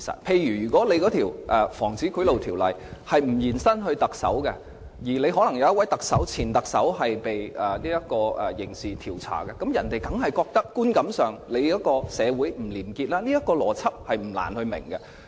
例如，如果《防止賄賂條例》的適用範圍不延伸至特首，而可能又有一位前特首接受刑事調查的話，別人在觀感上當然會認為社會不廉潔，這個邏輯不難明白。